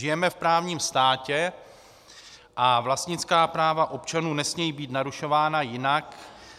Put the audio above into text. Žijeme v právním státě a vlastnická práva občanů nesmějí být narušována jinak